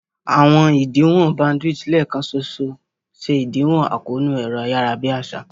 Àwọn ìdíwọ̀n bandwidth lẹ́ẹ̀kan ṣoṣo ṣe ìdíwọ̀n àkóónú ẹ̀rọ-ayárabíàsá